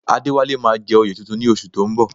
Adéwálé máa jẹ oyè tuntun ní oṣù tó ń bọ̀